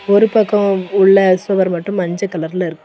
ஒரு பக்கம் உள்ள சுவர் மட்டும் மஞ்ச கலர்ல இருக்கு.